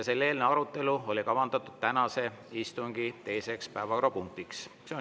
Selle eelnõu arutelu oli kavandatud tänase istungi teiseks päevakorrapunktiks.